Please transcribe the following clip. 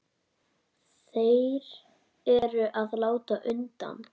Þeir eru að láta undan.